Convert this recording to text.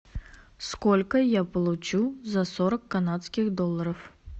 сколько я получу за сорок канадских долларов